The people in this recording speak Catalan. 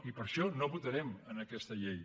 i per això no votarem aquesta llei